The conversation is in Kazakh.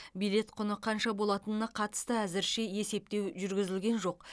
билет құны қанша болатынына қатысты әзірше есептеу жүргізілген жоқ